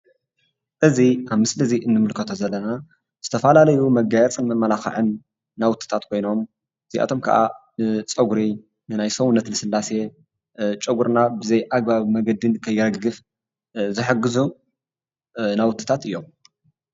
እዚ ኣብ ምስሊ እዚ ንምልከቶ ዘለና ዝተፈላለዩ መጋየፅን መመላክዕን ናውትታት ኮይኖም እዚኣቶም ከዓ ንፀጉሪ ናይ ሰውነት ልስላሴ ጨጉራና ብዘይኣግባብ መንገዲ ንከይረግፈ ዝሕግዙ ናውትታት እዮም፡፡